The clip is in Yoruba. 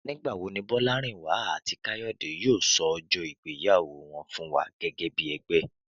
Nígbà wo ni Bọ́lárìnwá àti Káyọ̀dé yóò sọ ọjọ́ ìgbéyàwó wọn fún wa gẹ́gẹ́ bí ẹgbẹ́?